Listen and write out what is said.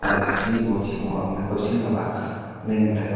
ngo chiji go chi kua mai kow sin awa ley ngan taiga.